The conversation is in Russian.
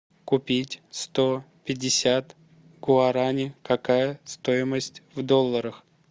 купить сто пятьдесят гуарани какая стоимость в долларах